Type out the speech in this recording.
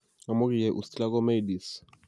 Amu ki yai Ustilago maydis.